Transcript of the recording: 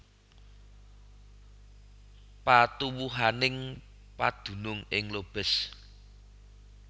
Patuwuhaning padunung ing Lobez